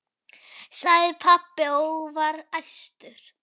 sagði pabbi og var æstur.